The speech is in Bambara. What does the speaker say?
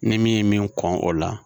Ni min ye min kɔn o la